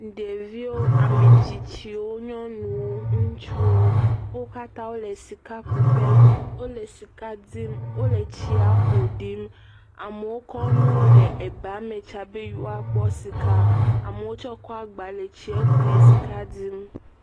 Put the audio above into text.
Ɖeviwo, ame tsitsiwo, nyɔnuwo, ŋutsuwo. Wo katã le sikakuƒe. Wole sika dim. Wole tsia ƒoɖim. Amewo kɔ nuwo le ebame tsam be yeawoakpɔ sika. Amewo tsɛ kɔ agba le tsiɛ ku le sika dim.